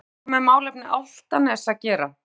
Hefur þetta nokkuð með málefni Álftaness að gera?